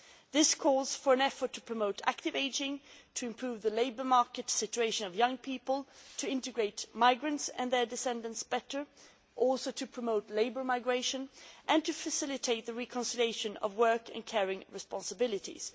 This calls for an effort to promote active ageing, to improve the labour market situation of young people, to integrate migrants and their descendants better and also to promote labour migration and to facilitate the reconciliation of work and caring responsibilities.